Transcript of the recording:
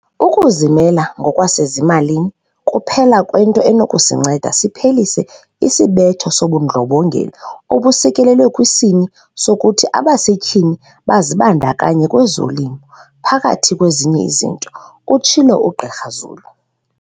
"Ukuzimela ngokwasezimalini kuphela kwento enokusinceda siphelise isibetho sobundlobongela obusekelelwe kwisini sokuthi abasetyhini bazibandakanye kwezolimo, phakathi kwezinye izinto," utshilo uGqr Zulu.